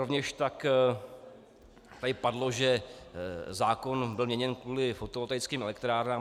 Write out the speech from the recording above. Rovněž tak tady padlo, že zákon byl měněn kvůli fotovoltaickým elektrárnám.